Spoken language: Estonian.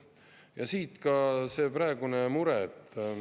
Ja siit ka see praegune mure.